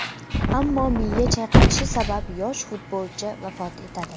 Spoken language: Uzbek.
Ammo miya chayqalishi sabab yosh futbolchi vafot etadi.